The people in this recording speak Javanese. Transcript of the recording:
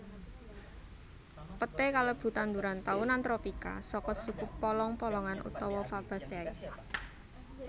Peté kalebu tanduran taunan tropika saka suku polong polongan utawa Fabaceae